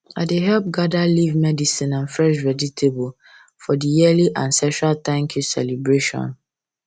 i dey help gather leaf medicine and fresh vegetable for the yearly ancestral thankyou celebration